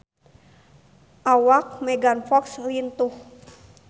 Awak Megan Fox lintuh